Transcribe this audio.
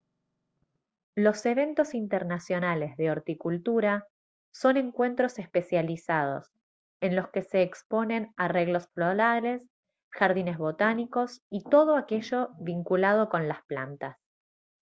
los eventos internacionales de horticultura son encuentros especializados en los que se exponen arreglos florales jardines botánicos y todo aquello vinculado con las plantas